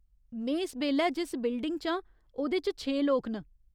में इस बेल्लै जिस बिल्डिंग च आं, ओह्‌दे च छे लोक न।